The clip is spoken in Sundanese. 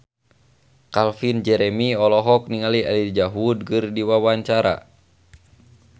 Calvin Jeremy olohok ningali Elijah Wood keur diwawancara